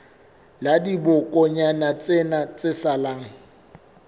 la dibokonyana tsena tse salang